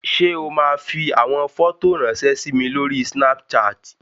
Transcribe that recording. Ṣé o máa fi àwọn fọ́tò ráńṣẹ́ sí mi lórí Snapchat?